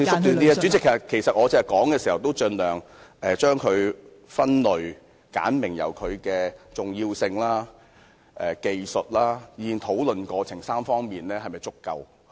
代理主席，其實我剛才已盡量將它分類，簡明地由《條例草案》的重要性、技術，以至討論過程3方面是否足夠來說。